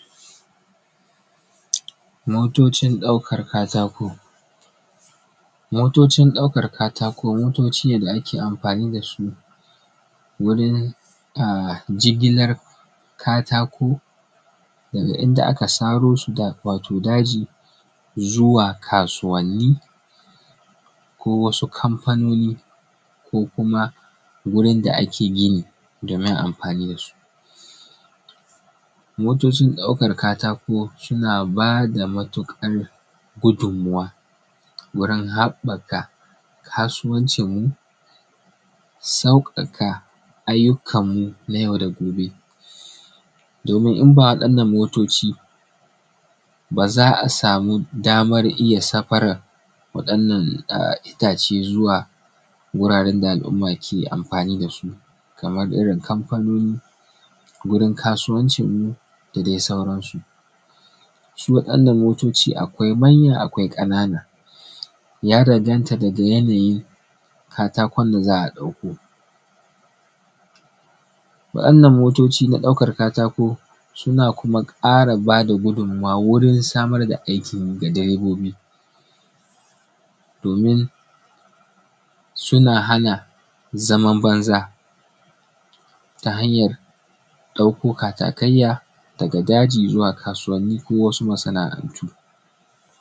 Motocin ɗaukan katako. Motocin ɗaukan katako motoci ne da ake amfani da su wurin jigilan katako daga inda aka saro su, wato daji zuwa kasuwani, ko wasu kamfanoni, ko kuma wurin da ake gini domin amfanin da su. motocin ɗaukar katako suna bada matuƙar gudunmuwa wurin haɓɓaka kasuwancinmu, sauƙaƙa, ayyukamu na yau da gobe, domin in ba wa'anan motoci, ba za a samu damar iya safaran waɗanan itace zuwa wuranan da al’umma ke amfani da su, kamar irin kamfanoni, wurin kasuwancinmu, da dai sauransu. Su waɗannan motoci akwai manya akwai ƙanana, ya danganta daga yanayin katakon da za a ɗauko. Wa'inan motoci na ɗaukan katako suna kuma ƙara bada gudunmuwa wurin samar da aikin yi ga direbobi domin suna hana zaman banza ta hanyar ɗauko katakayya daga daji zuwa kasuwanni ko wasu masana'antu.